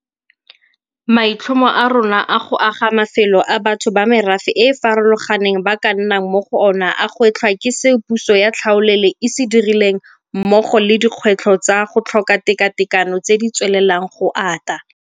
Maitlhomo a rona a go aga mafelo a batho ba merafe e e farologaneng ba ka nnang mo go ona a gwetlhwa ke seo puso ya tlhaolele e se dirileng mmogo le dikgwetlho tsa go tlhoka tekatekano tse di tswelelang go ata.